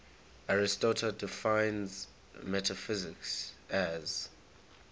aristotle defines metaphysics as